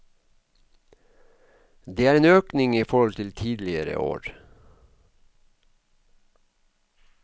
Det er en økning i forhold til tidligere år.